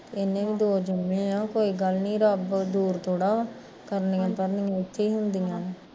ਇਹਨੇ ਵੀ ਦੋ ਜਮੇ ਆ ਕੋਈ ਗੱਲ ਨੀ ਰੱਬ ਦੂਰ ਥੋੜਾ, ਕਰਨੀਆ ਭਰਨੀਆ ਔਖੀਆ ਹੁੰਦਿਆ ਨੇ